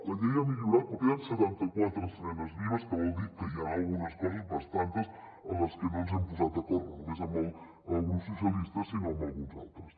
la llei ha millorat però queden setanta quatre esmenes vives que vol dir que hi han algunes coses bastantes en les que no ens hem posat d’acord no només amb el grup socialistes sinó amb alguns altres